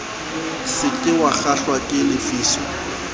se ke wakgahlwa ke lefiso